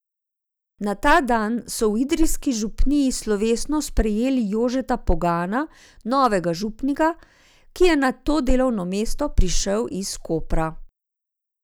Na ta dan so v idrijski župniji slovesno sprejeli Jožeta Pegana, novega župnika, ki je na to delovno mesto prišel iz Kopra.